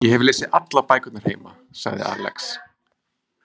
Ég hef lesið allar bækurnar heima, sagði Alex.